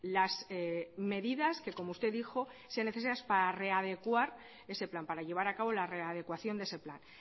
las medidas que como usted dijo sean necesarias para readecuar ese plan para llevar a cabo la readecuación de ese plan